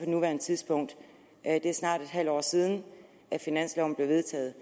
nuværende tidspunkt det er snart et halvt år siden finansloven blev vedtaget